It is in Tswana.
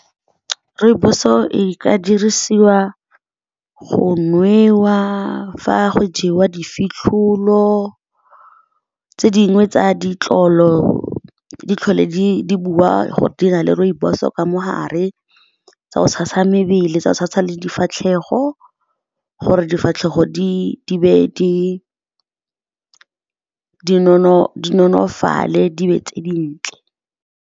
Rooibos o ka dirisiwa go nwewa fa go jewa difitlholo. Tse dingwe tsa ditlolo di tlhola di bua gore di na le rooibos o ka mogare tsa go tshasa mebele, tsa go tshasa le difatlhego gore difatlhego di nonofale, di nne tse dintle.